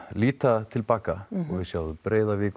líta til baka og við sjáum Breiðavík